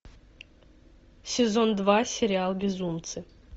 сезон два сериал безумцы